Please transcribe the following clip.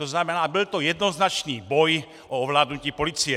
To znamená, byl to jednoznačný boj o ovládnutí policie.